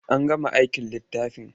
An gama aikin littafin?